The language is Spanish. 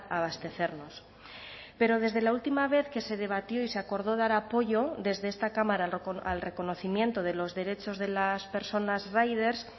abastecernos pero desde la última vez que se debatió y se acordó dar apoyo desde esta cámara al reconocimiento de los derechos de las personas riders